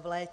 v létě.